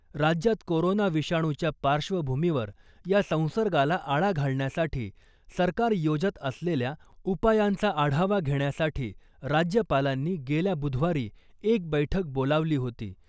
राज्यात कोरोना विषाणूच्या पार्श्वभूमीवर या संसर्गाला आळा घालण्यासाठी सरकार योजत असलेल्या उपायांचा आढावा घेण्यासाठी राज्यपालांनी गेल्या बुधवारी एक बैठक बोलावली होती .